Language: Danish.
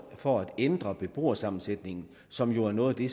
for at ændre beboersammensætningen som jo er noget af det